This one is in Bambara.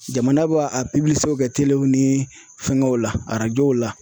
Jamana b'a a kɛ telew ni fɛngɛw la arajow la.